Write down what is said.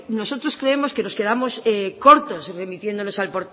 nosotros creemos que nos quedamos cortos remitiéndonos al